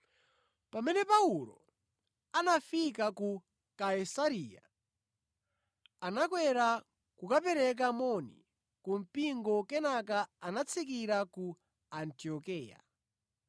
Pamene Paulo anafika ku Kaisareya, anakwera kukapereka moni ku mpingo kenaka anatsikira ku Antiokeya.